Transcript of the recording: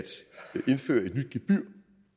indføre et gebyr